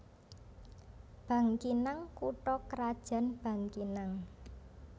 Bangkinang kutha krajan Bangkinang